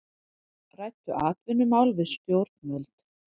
Ræddu atvinnumál við stjórnvöld